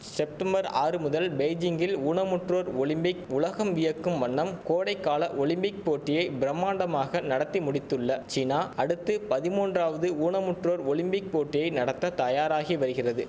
September ஆறு முதல் பெய்ஜிங்கில் ஊனமுற்றோர் ஒலிம்பிக் உலகம் வியக்கும் வண்ணம் கோடைகால ஒலிம்பிக் போட்டியை பிரமாண்டமாக நடத்தி முடித்துள்ள சீனா அடுத்து பதிமூன்றாவது ஊனமுற்றோர் ஒலிம்பிக் போட்டியை நடத்த தயாராகி வரிகிறது